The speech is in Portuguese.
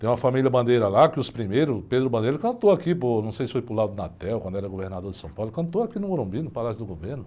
Tem uma família bandeira lá que os primeiros, Pedro Bandeira, cantou aqui, não sei se foi para o, quando era governador de São Paulo, cantou aqui no Morumbi, no Palácio do Governo.